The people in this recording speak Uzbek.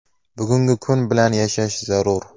Bugungi kun bilan yashash zarur.